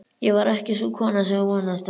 Ég var ekki sú kona sem þú vonaðist eftir.